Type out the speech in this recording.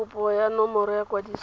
kopo ya nomoro ya kwadiso